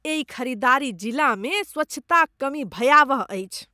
एहि खरीदारी जिलामे स्वच्छताक कमी भयावह अछि।